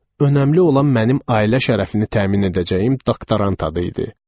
Önəmli olan mənim ailə şərəfini təmin edəcəyim doktorant adı idi.